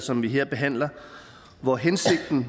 som vi her behandler og hvor hensigten